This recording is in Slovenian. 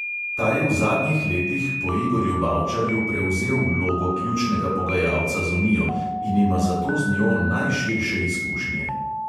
Ta je v zadnjih letih po igorju bavčarju prevzel vlogo ključnega pogajalca z unijo in ima zato z njo najširše izkušnje.